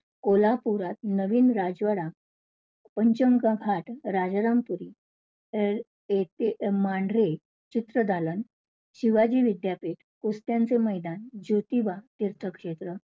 कोल्हापुरात नवीन राजवाडा, पंचगंगा घाट, राजारामपुरी, अ~ए~मांढरे चित्रदालन, शिवाजी विद्यापीठ, कुस्त्यांचे मैदान, ज्योतिबा तीर्थक्षेत्र